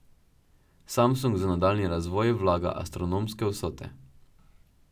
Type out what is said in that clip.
Samsung za nadaljnji razvoj vlaga astronomske vsote.